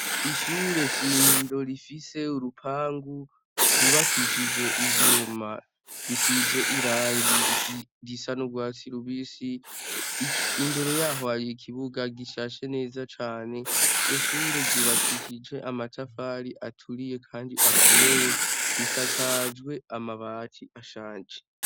Ishure shingiro rifise urupangu rwubakishije ivyuma bisize irangi risa nu rwa sirubisi imbere yaho ari ikibuga gishashe neza cane ibyo shure gubakishije amatafari aturiye kandi akomeye risakajwe amabati ashaje.